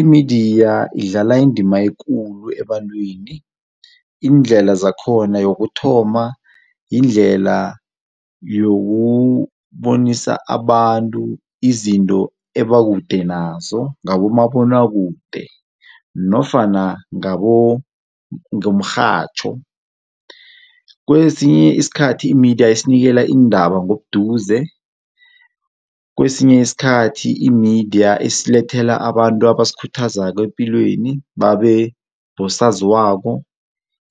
Imidiya idlala indima ekulu ebantwini, iindlela zakhona, yokuthoma yindlela yokubonisa abantu izinto ebakude nazo ngabo mabonwakude nofana ngomrhatjho. Kesinye isikhathi imidiya isinikela iindaba ngobuduze, kwesinye isikhathi imidiya isilethela abantu abasikhuthazako epilweni babe bosaziwako,